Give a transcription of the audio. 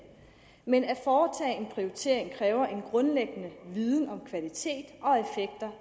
men at foretage en prioritering kræver en grundlæggende viden om kvalitet